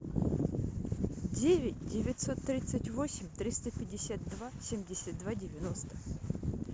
девять девятьсот тридцать восемь триста пятьдесят два семьдесят два девяносто